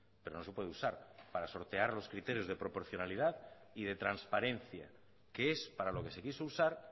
pero no se puede usar para sortear los criterios de proporcionalidad y de transparencia que es para lo que se quiso usar